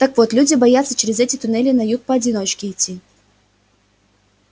так вот люди боятся через эти туннели на юг поодиночке идти